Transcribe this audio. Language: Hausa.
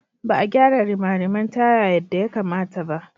Ba a gyara rimariman taya yadda ya kamata ba.